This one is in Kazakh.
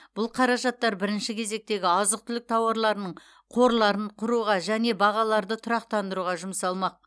бұл қаражаттар бірінші кезектегі азық түлік тауарларының қорларын құруға және бағаларды тұрақтандыруға жұмсалмақ